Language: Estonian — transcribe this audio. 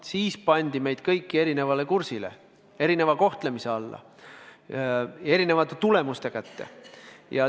Siis pandi meid kõiki erinevale kursile, erineva kohtlemise alla ja erinevate tulemuste kätte.